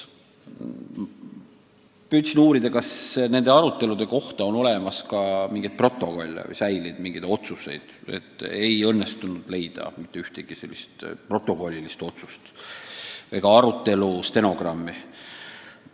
Ma uurisin, kas nende arutelude kohta on olemas ka mingi protokoll või mingid paberid tehtud otsuste kohta, aga ei õnnestunud leida mitte ühtegi otsust ega arutelu protokolli.